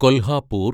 Kolhapur